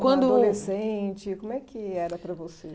Quando adolescente, como é que era para você?